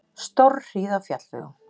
Stórhríð á fjallvegum